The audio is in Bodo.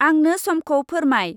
आंनो समखौ फोरमाय।